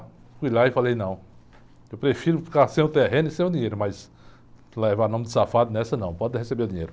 Fui lá e falei, não, eu prefiro ficar sem o terreno e sem o dinheiro, mas levar nome de safado nessa não, pode receber o dinheiro.